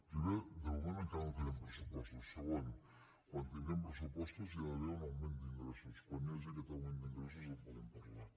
primer de moment encara no tenim pressupostos segon quan tinguem pressupostos hi ha d’haver un augment d’ingressos quan hi hagi aquest augment d’ingressos en podem parlar